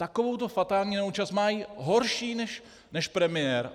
Takovouto fatální neúčast má horší než premiér.